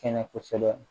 Kɛnɛ kosɛbɛ